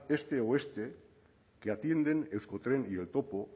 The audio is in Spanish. este oeste que atienden euskotren y el topo